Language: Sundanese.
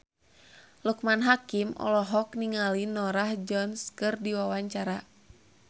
Loekman Hakim olohok ningali Norah Jones keur diwawancara